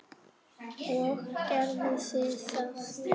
Og gerðu þið það?